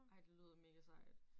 Ej det lyder mega sejt